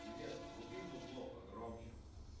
привет вруби музло погромче